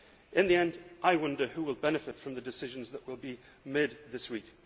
In the end, I wonder who will benefit from the decisions that will be made this week.